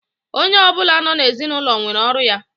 Onye ọbụla nọ na ezinaụlọ nwere ọrụ ya